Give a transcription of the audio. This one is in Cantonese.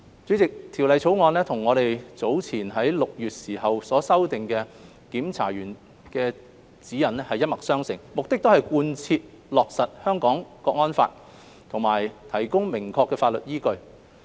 主席，《條例草案》與我們早前於6月時修訂的《檢查員指引》一脈相承，目的是貫徹落實《香港國安法》及提供明確的法律依據。